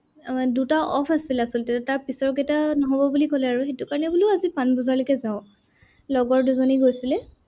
আহ দুটা off আছিলে আচলতে, তাৰ পিছৰকেইটা নহ'ব বুলি ক'লে আৰু সেইটো কাৰনে বোলো আজি পানবজাৰলৈকে যাঁও। লগৰ দুজনী গৈছিলে।